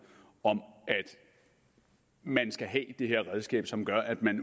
om at man skal have det her redskab som gør at man